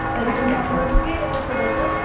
तरीपण आपलं केलंय कस बस.